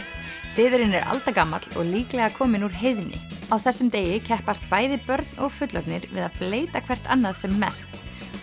siðurinn er og líklega kominn úr heiðni á þessum degi keppast bæði börn og fullorðnir við að bleyta hvert annað sem mest